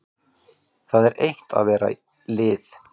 Það er eitt að vera lið.